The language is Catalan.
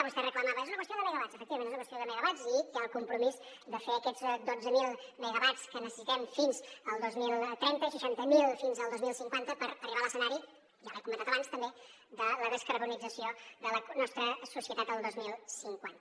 vostè reclamava és una qüestió de megawatts efectivament és una qüestió de megawatts i hi ha el compromís de fer aquests dotze mil megawatts que necessitem fins al dos mil trenta seixanta mil fins al dos mil cinquanta per arribar a l’escenari ja li he comentat abans també de la descarbonització de la nostra societat el dos mil cinquanta